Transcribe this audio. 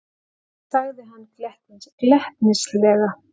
sagði hann glettnislega.